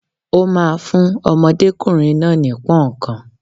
Ó ma fún ọmọdékùnrin náà ní Punnkan.